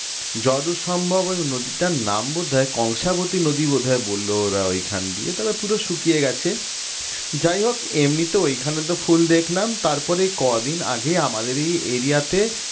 যতদূর সম্ভব ওই নদীরটার নাম বোধ হয় কংসাবতী নদী বোধ হয় বলল ওরা ওইখান দিয়ে তবে পুরো শুকিয়ে গেছে যাই হোক এমনি তো ওখানে তো ফুল দেখলাম তারপর কদিন আগে আমাদের এই area তে